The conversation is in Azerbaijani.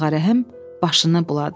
Ağarəhim başını buladı.